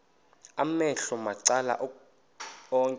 amehlo macala onke